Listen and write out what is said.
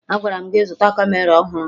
Agwara m gị zụta kamera ọhụrụ!